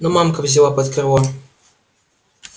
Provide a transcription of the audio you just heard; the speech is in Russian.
но мамка взяла под крыло